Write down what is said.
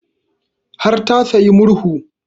Har ta sayi murhu